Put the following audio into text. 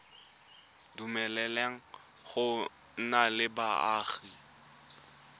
dumeleleng go nna le boagi